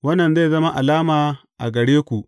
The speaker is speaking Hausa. Wannan zai zama alama a gare ku.